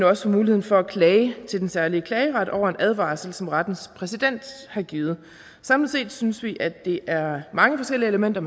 også mulighed for at klage til den særlige klageret over en advarsel som rettens præsident har givet samlet set synes vi at det er mange forskellige elementer